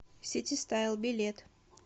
сити стайл билет